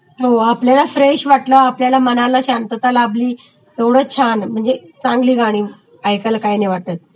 हो आपल्याला फ्रेश वाटलं, आपल्या मनाला शांतता लाभली तेवढं छान म्हणजे चांगली गाणी ऐकायला काही नाही वाटतं